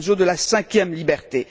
Barroso, de la cinquième liberté.